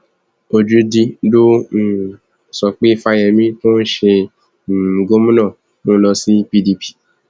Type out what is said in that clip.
ojúdi ló um sọ pé fáyemí tó ń ṣe um gómìnà ń lọ sí pdp